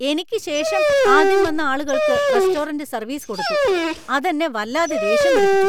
എനിക്ക് ശേഷം ആദ്യം വന്ന ആളുകൾക്ക് റെസ്റ്റോറന്‍റ് സർവീസ് കൊടുത്തു , അത് എന്നെ വല്ലാതെ ദേഷ്യം പിടിപ്പിച്ചു .